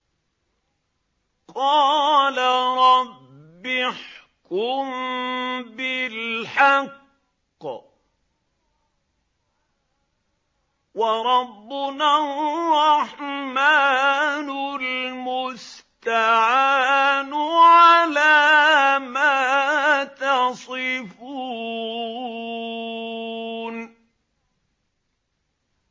قَالَ رَبِّ احْكُم بِالْحَقِّ ۗ وَرَبُّنَا الرَّحْمَٰنُ الْمُسْتَعَانُ عَلَىٰ مَا تَصِفُونَ